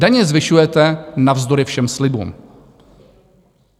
Daně zvyšujete navzdory všem slibům.